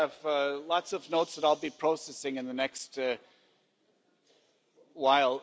I have lots of notes that I'll be processing in the next while.